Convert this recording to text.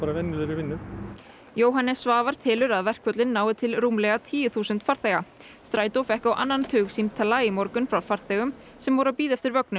venjulegri vinnu Jóhannes Svavar telur að verkföllin nái til rúmlega tíu þúsund farþega strætó fékk á annan tug símtala í morgun frá farþegum sem voru að bíða eftir vögnum